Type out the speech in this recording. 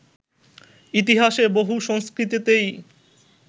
ইতিহাসে বহু সংস্কৃতিতেই